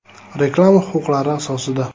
Reklama huquqlari asosida!